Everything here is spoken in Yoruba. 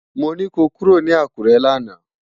Mó ni kó kúró ni Akure làná